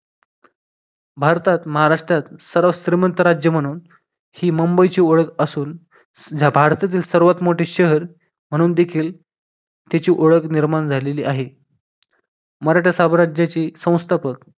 भारतात महाराष्ट्रात सर्वात श्रीमंत राज्य म्हणून ही मुंबईची ओळख असून भारतातील सर्वात मोठे शहर म्हणून देखील त्याची ओळख निर्माण झालेली आहे मराठ्या साम्राज्याची संस्थापक